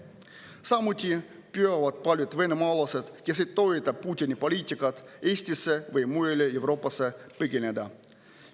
Samuti püüavad paljud venemaalased, kes ei toeta Putini poliitikat, Eestisse või mujale Euroopasse põgeneda.